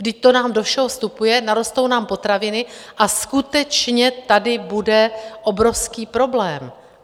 Vždyť to nám do všeho vstupuje, narostou nám potraviny a skutečně tady bude obrovský problém.